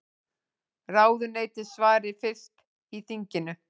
Ráðuneyti svari fyrst í þinginu